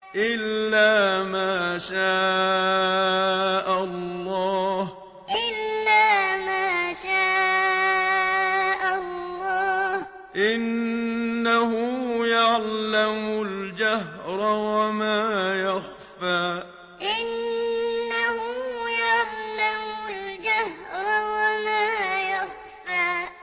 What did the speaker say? إِلَّا مَا شَاءَ اللَّهُ ۚ إِنَّهُ يَعْلَمُ الْجَهْرَ وَمَا يَخْفَىٰ إِلَّا مَا شَاءَ اللَّهُ ۚ إِنَّهُ يَعْلَمُ الْجَهْرَ وَمَا يَخْفَىٰ